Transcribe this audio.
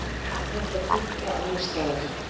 Er þetta tíðkað annars staðar?